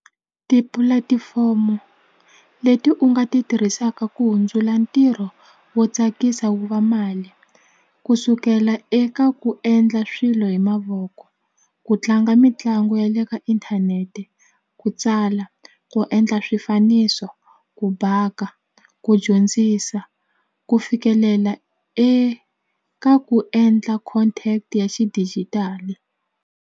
Tipulatifomo leti u nga ti tirhisaka ku hundzula ntirho wo tsakisa wu va mali ku sukela eka ku endla swilo hi mavoko ku tlanga mitlangu ya le ka inthanete ku tsala ku endla swifaniso ku baka ku dyondzisa ku fikelela eka ku endla content ya xidijitali.